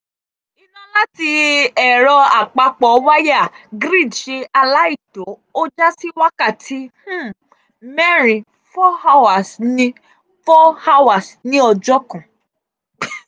iná láti ẹ̀rọ-àpapọ̀-wáyà (grid) ṣe aláìtó ó já sí wákàtí um mẹ́rin ( four hours) ní ( four hours) ní ọjọ́ kan.